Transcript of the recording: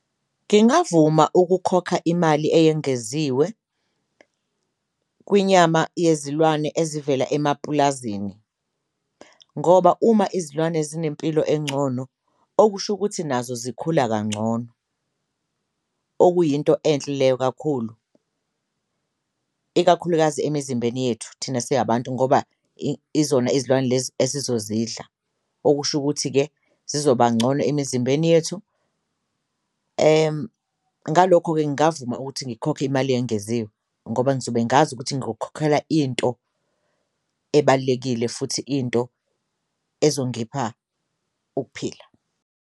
Ngingavuma ukukhokha imali eyengeziwe kwinyama yezilwane ezivela emapulazini ngoba uma izilwane zinempilo encono, okusho ukuthi nazo zikhula kancono okuyinto khona enhle leyo kakhulu, ikakhulukazi emizimbeni yethu thina siyabantu ngoba izona izilwane lezi esizozidla, okusho ukuthi-ke zizoba ncono emizimbeni yethu. Ngalokho-ke, ngavuma ukuthi ngikhokhe imali eyengeziwe ngoba ngizobe ngazi ukuthi ngukhokhela into ebalulekile futhi into ezongipha ukuphila.